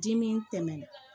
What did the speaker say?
Dimi tɛmɛ